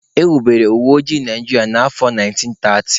E wubere uweoji Naijiria na afọ 1930